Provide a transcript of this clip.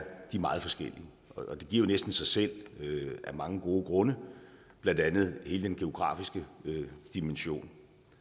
meget forskellige og det giver jo næsten sig selv af mange gode grunde blandt andet hele den geografiske dimension